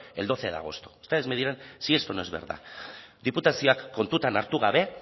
el doce de agosto ustedes me dirán si esto no es verdad diputazioak kontutan hartu gabe